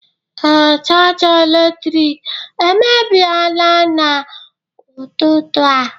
ee, chaja eletrik emebiela n'ụtụtụ a